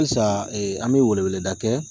Halisa an bɛ weleweleda kɛ